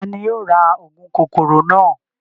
Tani yóò ra óogun kokoro naa?